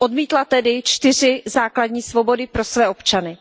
Odmítla tedy čtyři základní svobody pro své občany.